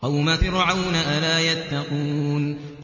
قَوْمَ فِرْعَوْنَ ۚ أَلَا يَتَّقُونَ